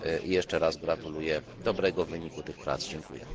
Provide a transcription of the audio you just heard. Jeszcze raz gratuluję dobrego wyniku tych prac. Dziękuję.